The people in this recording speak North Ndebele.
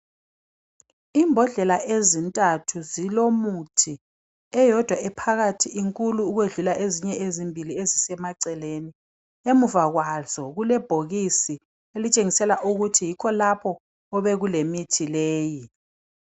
Imbodlela ezintathu zilomuthi eyodwa ephakathi inkulu ukwedlula ezimbili ezisemaceleni emuva kwazo kule bhokisi elitshengisela ukuthi yikho lapho obekule mithi leyi.